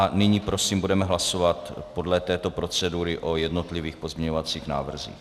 A nyní prosím budeme hlasovat podle této procedury o jednotlivých pozměňovacích návrzích.